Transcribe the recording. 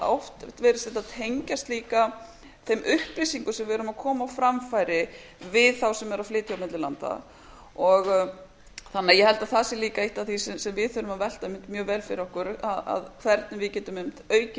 oft virðist þetta tengjast líka þeim upplýsingum sem við erum að koma á framfæri við þá sem eru að flytja á milli landa þannig að ég held að það sé líka eitt af því sem við þurfum að velta einmitt mjög vel fyrir okkur hvernig við getum aukið